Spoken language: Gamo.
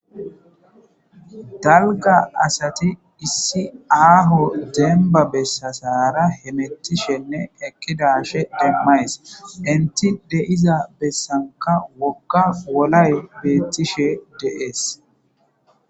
dalga asati issi aaho demba bessasara hemettishenne ekidashe demmays inti deiza bessanka wokka wolay beettishe deees